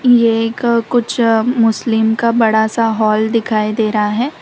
यह एक कुछ मुस्लिम का बड़ा सा हॉल दिखाई दे रहा है।